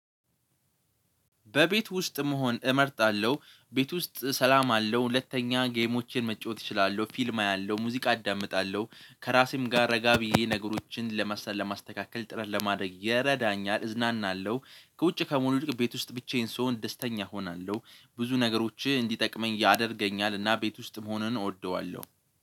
በቤት ውስጥ መሆን እመርጣለሁ ቤት ውስጥ ሰላም አለው ሁለተኛ ጌሞችን መጫወት እችላለሁ ፊልም አያለሁ ሙዚቃ አዳምጣለሁ። ከራሴም ጋር ረጋ ብዬ ነገሮችን ለመሰል ለማስተካከል ጥረት ለማድረግ ይረዳኛል እዝናናለሁ። ከውጭ ከመሆን ይልቅ ቤት ውስጥ ብቻዬን ስሆን ደስተኛ እሆናለሁ። ብዙ ነገሮችህ እንዲጠቅመኝ ያደርገኛል እና ቤት ውስጥ መሆኑን እወደዋለሁ